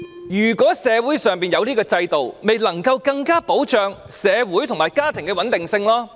如果社會上有這個制度，便能更加保障社會與家庭的穩定性。